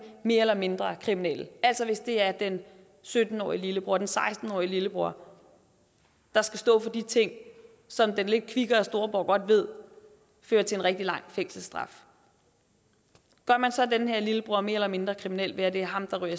mere eller mindre kriminelle altså hvis det er den sytten årige lillebror eller den seksten årige lillebror der skal stå for de ting som den lidt kvikkere storebror godt ved fører til en rigtig lang fængselsstraf gør man så den her lillebror mere eller mindre kriminel ved at det er ham der ryger